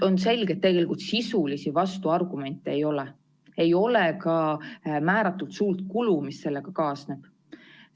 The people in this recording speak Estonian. On selge, et tegelikult sisulisi vastuargumente ei ole, ei ole ka määratult suurt kulu, mis sellega kaasneb.